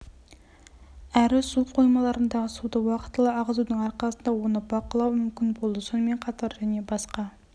әрі су қоймаларындағы суды уақытылы ағызудың арқасында оны бақылау мүмкін болды сонымен қатар және басқа